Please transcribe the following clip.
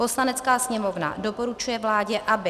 Poslanecká sněmovna doporučuje vládě, aby